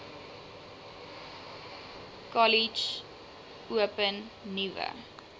kollege open nuwe